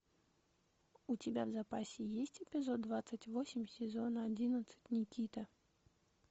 у тебя в запасе есть эпизод двадцать восемь сезона одиннадцать никита